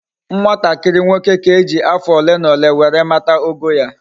Nwatakiri nwoke ka eji afo ole na ole were mata ogo ya